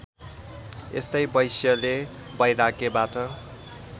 यस्तै वैश्यले वैराग्यबाट